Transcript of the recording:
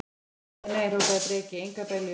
Nei, nei, nei, hrópaði Breki, engar beljur.